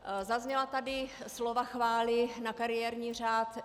Zazněla tady slova chvály na kariérní řád.